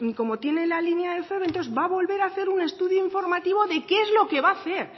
como tiene la línea de feve entonces va a volver a hacer un estudio informativo de qué es lo que va a hacer